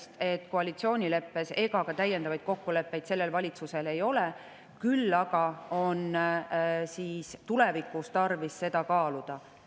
Koalitsioonileppes ega ka täiendavaid kokkuleppeid sellel valitsusel siin ei ole, küll aga on tulevikus tarvis seda kaaluda.